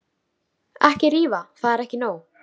Ekki rífa, það er ekki nóg.